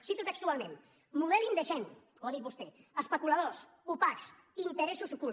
ho cito textualment model indecent ho ha dit vostè especuladors opacs interessos ocults